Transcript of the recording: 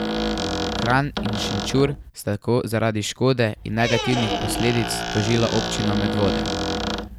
Kranj in Šenčur sta tako zaradi škode in negativnih posledic tožila občino Medvode.